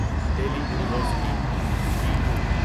Delhi university D you